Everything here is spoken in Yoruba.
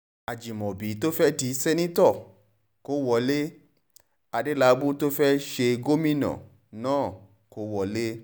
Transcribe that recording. Ajimọbi to fẹ di sẹnitọ ko wọle, Adelabu to fẹ ṣe gomina naa, ko wọle